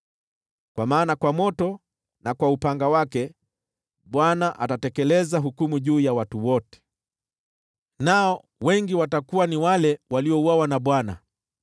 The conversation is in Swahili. Kwa maana kwa moto na kwa upanga wake Bwana atatekeleza hukumu juu ya watu wote, nao wengi watakuwa ni wale waliouawa na Bwana .